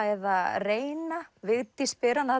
eða reynt Vigdís spyr hana